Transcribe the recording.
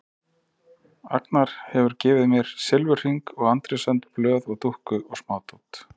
Agnar hefur gefið mér silfurhring og Andrés önd blöð og dúkku og smádót.